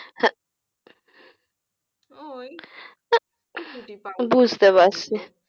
হ্যাঁ ওই